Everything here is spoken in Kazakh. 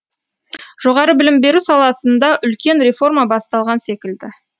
жоғары білім беру саласында үлкен реформа басталған секілді